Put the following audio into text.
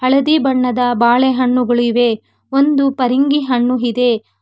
ಹಳದಿ ಬಣ್ಣದ ಬಾಳೆಹಣ್ಣುಗಳು ಇವೆ ಒಂದು ಪರಂಗಿ ಹಣ್ಣು ಇದೆ.